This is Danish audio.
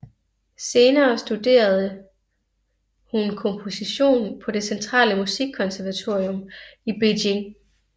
Senere studerede hun komposition på det Centrale Musikkonservatorium i Beijing